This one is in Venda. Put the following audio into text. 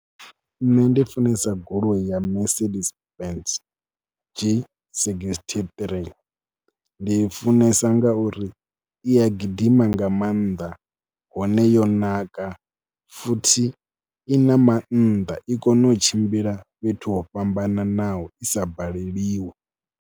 Nṋe ndi funesa goloi ya Mercedes Benz G sixty-three, ndi i funesa ngauri i a gidima nga maanḓa hone yo naka, futhi i na maanḓa. I kone u tshimbila fhethu ho fhambananaho i sa baleliwi.